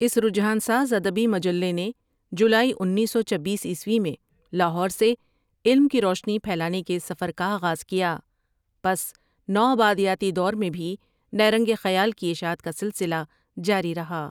اس رجحان ساز ادبی مجلے نے جولائی انیس سو چبیس عیسوی میں لاہور سے علم کی روشنی پھیلانے کے سفر کا آغاز کیا پس نو آبادیاتی دور میں بھی نیرنگ خیال کی اشاعت کا سلسلہ جاری رہا ۔